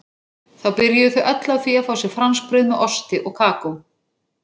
Þá byrjuðu þau öll á því að fá sér franskbrauð með osti og kakó.